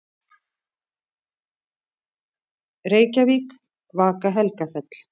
Reykjavík: Vaka-Helgafell.